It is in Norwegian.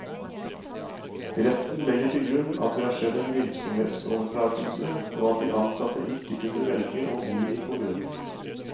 Retten legger til grunn at det har skjedd en virksomhetsoverdragelse, og at de ansatte ikke kunne velge å bli i kommunen.